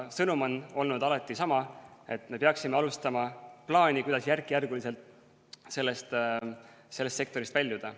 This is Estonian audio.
Sõnum on olnud alati sama: me peaksime tegema plaani, kuidas järk-järgult sellest sektorist väljuda.